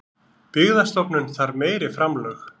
Byggðastofnun þarf meiri framlög